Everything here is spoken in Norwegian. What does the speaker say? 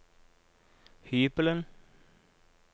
hybelen